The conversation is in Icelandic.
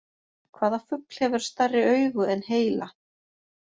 Hvaða fugl hefur stærri augu en heila?